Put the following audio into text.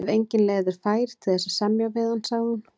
Ef engin leið er fær til þess að semja við hann, sagði hún.